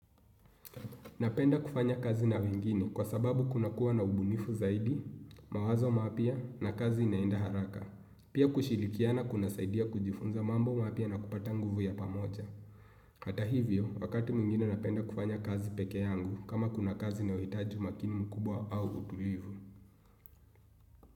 Napenda kufanya kazi na wengine kwa sababu kunakuwa na ubunifu zaidi, mawazo mapya na kazi inaenda haraka. Pia kushirikiana kunasaidia kujifunza mambo mapya na kupata nguvu ya pamoja. Hata hivyo wakati mwingine napenda kufanya kazi pekee yangu kama kuna kazi inayohitaji umakini mkubwa au utulivu.